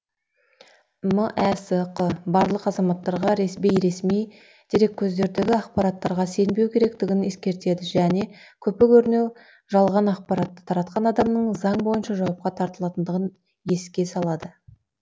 мәсқ барлық азаматтарға бейресми дереккөздердегі ақпараттарға сенбеу керектігін ескертеді және көпе көрінеу жалған ақпаратты таратқан адамның заң бойынша жауапқа тартылатындығын еске салады